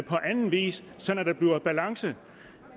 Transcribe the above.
på anden vis sådan at der bliver balance